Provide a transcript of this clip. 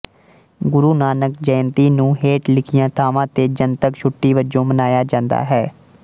ਗੁਰੂ ਨਾਨਕ ਜਯੰਤੀ ਨੂੰ ਹੇਠ ਲਿਖੀਆਂ ਥਾਵਾਂ ਤੇ ਜਨਤਕ ਛੁੱਟੀ ਵਜੋਂ ਮਨਾਇਆ ਜਾਂਦਾ ਹੈ